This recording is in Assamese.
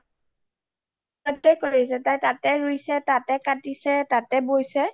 তাতে কৰিছে তাতে ৰুইছে, তাতে কাতিচে, তাতে বৈছে